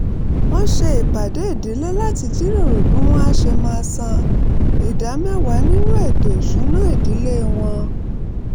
wọ́n ṣe ìpàdé ìdílé láti jíròrò bí wọ́n á ṣe máa san ìdá mẹ́wàá nínú ètò ìsúnná ìdílé wọn